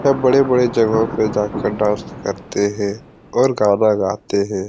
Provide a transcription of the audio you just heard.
सब बड़े-बड़े जगहों पे जाकर डांस करते हैं और गाना गाते हैं।